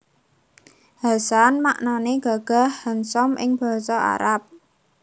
Hasan maknané gagah handsome ing Basa Arab